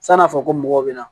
San'a fɔ ko mɔgɔw bɛ na